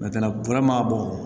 ma bɔ